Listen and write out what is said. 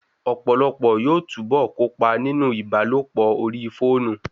Ọ̀pọ̀lọpọ̀ yóò túbọ̀ kópa nínú ìbálòpọ̀ orí fóònù